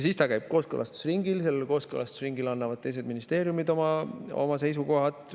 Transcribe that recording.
Siis ta käib kooskõlastusringil ja seal kooskõlastusringil annavad teised ministeeriumid oma seisukohad.